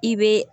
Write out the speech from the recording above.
I bɛ